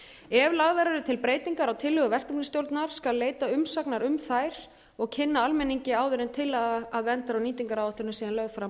ef lagðar eru til breytingar á tillögu verkefnisstjórnar skal leita umsagnar um þær og kynna almenningi áður en tillaga að verndar og nýtingaráætlun er síðan lögð fram